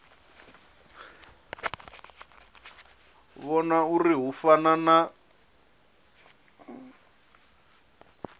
vhona uri hu fana na